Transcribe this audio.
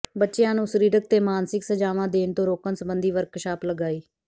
ਬੱਚਿਆਂ ਨੂੰ ਸਰੀਰਕ ਤੇ ਮਾਨਸਿਕ ਸਜ਼ਾਵਾਂ ਦੇਣ ਤੋਂ ਰੋਕਣ ਸਬੰਧੀ ਵਰਕਸ਼ਾਪ ਲਗਾਈ